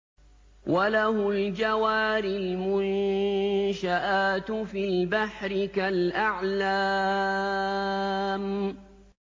وَلَهُ الْجَوَارِ الْمُنشَآتُ فِي الْبَحْرِ كَالْأَعْلَامِ